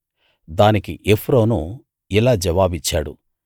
దానికి ఎఫ్రోను ఇలా జవాబిచ్చాడు